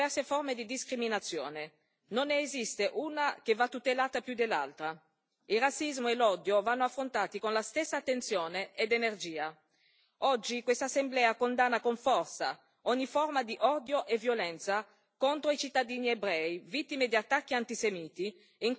Non ne esiste una che va tutelata più dell'altra. Il razzismo e l'odio vanno affrontati con la stessa attenzione ed energia. Oggi questa Assemblea condanna con forza ogni forma di odio e violenza contro i cittadini ebrei vittime di attacchi antisemiti, in continua ascesa in tutta Europa.